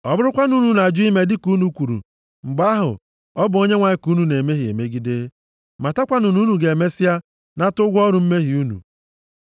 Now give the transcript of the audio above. “Ọ bụrụkwanụ na unu ajụ ime dịka unu kwuru, mgbe ahụ, ọ bụ Onyenwe anyị ka unu na-emehie megide. Matakwanụ na unu ga-emesịa nata ụgwọ ọrụ mmehie unu.